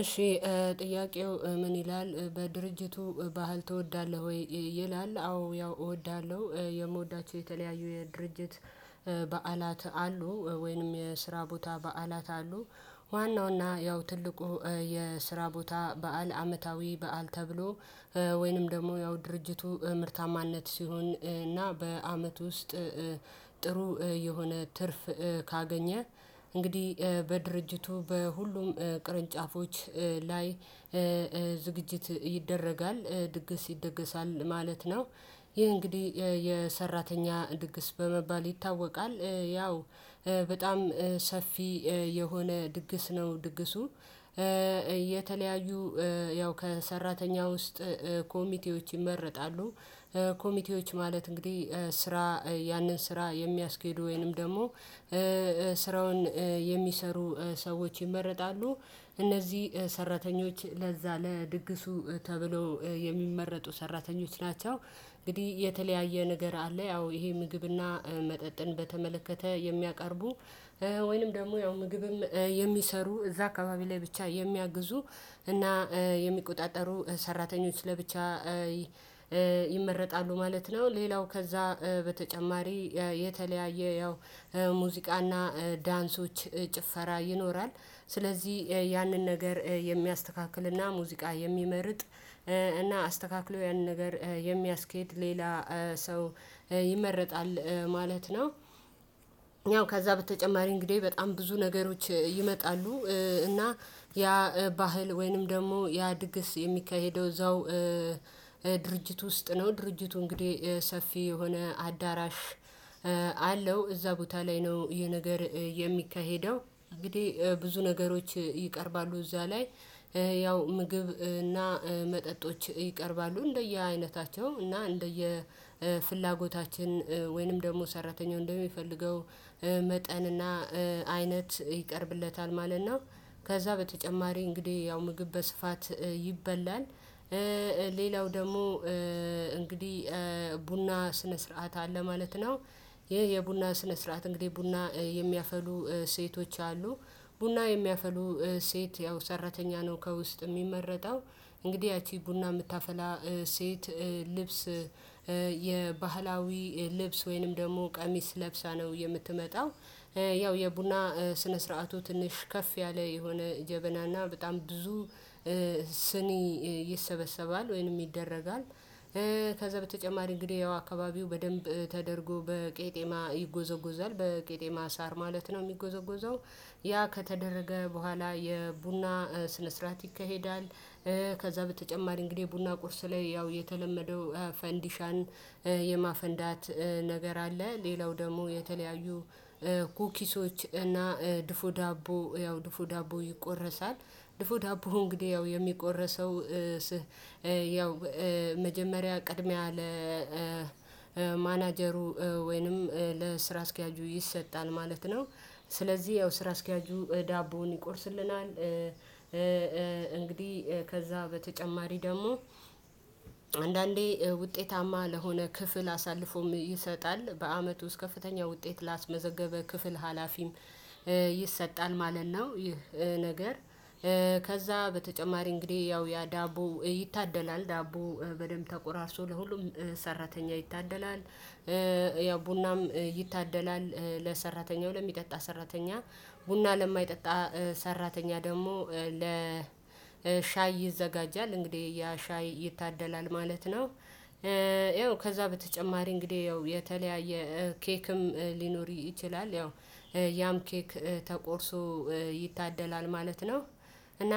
እሺ ጥያቄው ምን ይላል በድርጅቱ ባህል ትወዳለህ ወይ ይላል? አዎ ያው እወዳለሁ የምወዳቸው የተለያዩ የድርጅት በዓላት አሉ ወይንም የስራ ቦታ በዓላት አሉ። ዋናው እና ያው ትልቁ የስራ ቦታ በዓል አመታዊ በዓል ተብሎ። ወይንም ደግሞ ያው ድርጅቱ ምርታማነት ሲሆን እና በአመት ውስጥ ጥሩ የሆነ ትርፍ ካገኘ እንግዲህ በድርጅቱ በሁሉም ቅርንጫፎች ላይ ዝግጅት ይደረጋል ድግስ ይደገሳል ማለት ነው። ይሄ እንግዲህ የሰራተኛ ድግስ በመባል ይታወቃል። ያው በጣም ሰፊ የሆነ ድግስ ነው ድግሱ። የተለያዩ ያው ከሰራተኛ ውስጥ ኮሚቴዎች ይመረጣሉ። ኮሚቴዎች ማለት እንግዲህ ስራ ያንን ስራ የሚያስኬዱ ወይንም ደግሞ ስራውን የሚሰሩ ሰዎች ይመረጣሉ። እነዚህ ሰራተኞች ለዛ ለድግሱ ተብሎ የሚመረጡ ሰራተኞች ናቸው። እንግዲህ የተለያየ ነገር አለ። ያው ይሄ ምግብና መጠጥን በተመለከተ የሚያቀርቡ ወይንም ደግሞ ያው ምግብም የሚሰሩ እዛ አካባቢ ላይ ብቻ የሚያግዙ እና የሚቆጣጠሩ ሰራተኞች ለብቻ ይመረጣሉ ማለት ነው። ሌላው ከዛ በተጨማሪ የተለያየ ያው ሙዚቃና ዳንሶች ጭፈራ ይኖራል። ስለዚህ ያንን ነገር የሚያስተካክልና ሙዚቃ የሚመርጥ እና አስተካክሎ ያንን ነገር የሚያስኬድ ሌላ ሰው ይመረጣል ማለት ነው። ያው ከዛ በተጨማሪ እንግዲህ በጣም ብዙ ነገሮች ይመጣሉ እና ያ ባህል ወይንም ደግሞ ያ ድግስ የሚካሄደው እዛው ድርጅት ውስጥ ነው። ድርጅቱ እንግዲህ ሰፊ የሆነ አዳራሽ አለው እዛ ቦታ ላይ ነው የነገር የሚካሄደው። እንግዲህ ብዙ ነገሮች ይቀርባሉ እዛ ላይ ያው ምግብ እና መጠጦች ይቀርባሉ። እንደየ አይነታቸው እና እንደየ ፍላጎታችን ወይንም ደግሞ ሰራተኛው እንደሚፈልገው መጠንና አይነት ይቀርብለታል ማለት ነው። ከዛ በተጨማሪ እንግዲህ ያው ምግብ በስፋት ይበላል። ሌላው ደግሞ እንግዲህ ቡና ስነ ስርዓት አለ ማለት ነው። ይሄ የቡና ስነ ስርዓት እንግዲህ ቡና የሚያፈሉ ሴቶች አሉ። ቡና የሚያፈሉ ሴት ያው ሰራተኛ ነው ከውስጥ የሚመረጠው። እንግዲህ ያቺ ቡና የምታፈላ ሴት ልብስ የባህላዊ ልብስ ወይንም ደግሞ ቀሚስ ለብሳ ነው የምትመጣው። ያው የቡና ስነ ስርዓቱ ትንሽ ከፍ ያለ የሆነ ጀበናና በጣም ብዙ ስኒ ይሰበሰባል ወይንም ይደረጋል ከዛ በተጨማሪ እንግዲህ ያው አካባቢው በደንብ ተደርጎ በቄጤማ ይጎዘጎዛል በቄጤማ ሳር ማለት ነው የሚጎዘጎዘው። ያ ከተደረገ በኋላ የቡና ስነ ስርዓት ይካሄዳል። ከዛ በተጨማሪ እንግዲህ ቡና ቁርስ ላይ ያው የተለመደው ፈንዲሻን የማፈንዳት ነገር አለ። ሌላው ደግሞ የተለያዩ ኩኪሶች እና ድፎ ዳቦ ያው ድፎ ዳቦ ይቆረሳል። ድፎ ዳቦ እንግዲህ ያው የሚቆረሰው ያው መጀመሪያ ቅድሚያ ለማናጀሩ ወይንም ለስራ አስኪያጁ ይሰጣል ማለት ነው። ስለዚህ ያው ስራ አስኪያጁ ዳቦውን ይቆርስልናል። እንግዲህ ከዛ በተጨማሪ ደግሞ አንዳንዴ ውጤታማ ለሆነ ክፍል አሳልፎም ይሰጣል በአመቱ ውስጥ ከፍተኛ ውጤት ላስመዘገበ ክፍል ሀላፊም ይሰጣል ማለት ነው። ይህ ነገር ከዛ በተጨማሪ እንግዲህ ያው ያ ዳቦ ይታደላል ዳቦ በደንብ ተቆራርሶ ለሁሉም ሰራተኛ ይታደላል። ያው ቡናም ይታደላል ለሰራተኛው ለሚጠጣ ሰራተኛ ቡና ለማይጠጣ ሰራተኛ ደግሞ ለሻይ ይዘጋጃል እንግዲህ ያ ሻይ ይታደላል ማለት ነው። ይኸው ከዛ በተጨማሪ እንግዲህ ያው የተለያየ ኬክም ሊኖር ይችላል ያው ያም ኬክ ተቆርሶ ይታደላል ማለት ነው። እና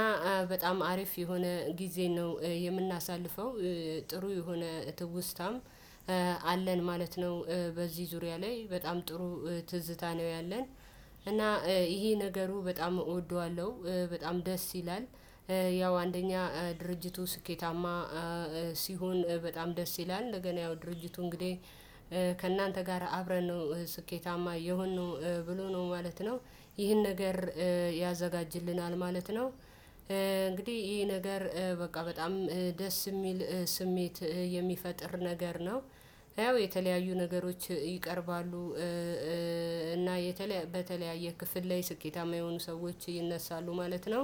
በጣም አሪፍ የሆነ ጊዜ ነው የምናሳልፈው ጥሩ የሆነ እትውስታም አለን ማለት ነው። በዚህ ዙሪያ ላይ በጣም ጥሩ ትዝታ ነው ያለን እና ይሄ ነገሩ በጣም እወደዋለሁ በጣም ደስ ይላል። ያው አንደኛ ድርጅቱ ስኬታማ ሲሆን በጣም ደስ ይላል እንደገና ያው ድርጅቱ እንግዲህ ከእናንተ ጋር አብረን ነው ስኬታማ የሆንነው ብሎ ነው ማለት ነው። ይህን ነገር ያዘጋጅልናል ማለት ነው። እንግዲህ ይሄ ነገር በቃ በጣም ደስ የሚል ስሜት የሚፈጥር ነገር ነው። ያው የተለያዩ ነገሮች ይቀርባሉ። እና በተለያየ ክፍል ላይ ስኬታማ የሆኑ ሰዎች ይነሳሉ ማለት ነው።